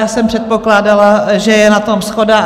Já jsem předpokládala, že je na tom shoda.